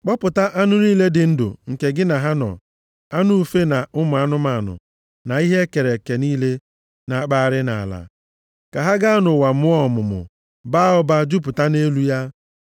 Kpọpụta anụ niile dị ndụ nke gị na ha nọ, anụ ufe, na ụmụ anụmanụ, na ihe e kere eke niile na-akpụgharị nʼala, ka ha gaa nʼụwa mụọ ọmụmụ, baa ụba, jupụta nʼelu ya.”